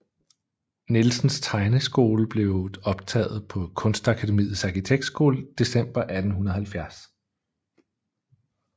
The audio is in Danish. Nielsens tegneskole og blev optaget på Kunstakademiets Arkitektskole december 1870